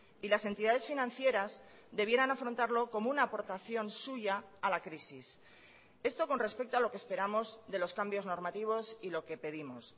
y las entidades financieras debieran afrontarlo como una aportación suya a la crisis esto con respecto a lo que esperamos de los cambios normativos y lo que pedimos